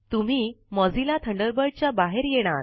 तुम्ही Mozilla Thunderbird च्या बाहेर येणार